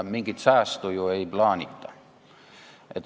Mingit säästu ju ei plaanita.